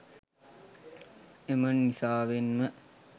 එම නිසාවෙන් ම